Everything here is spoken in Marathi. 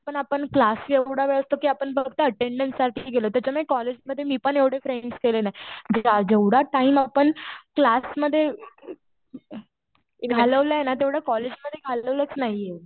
पण आपण क्लासला एवढा वेळ असतो कि आपण फक्त अटेन्डन्स साठी गेलो त्याच्यामुळे कॉलेजमध्ये मी पण एवढे फ्रेंड्स केले नाही. जेवढा टाइम आपण क्लासमध्ये घालवलंय ना तेवढा कॉलेजमध्ये घालवलाच नाहीये.